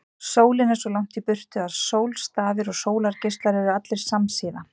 Sólin er svo langt í burtu að sólstafir og sólargeislar eru allir samsíða.